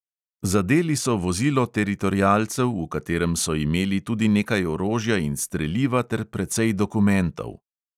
Zadeli so vozilo teritorialcev, v katerem so imeli tudi nekaj orožja in streliva ter precej dokumentov.